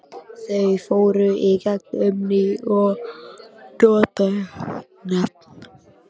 Þau fóru í gegn um ný og notuð nöfn.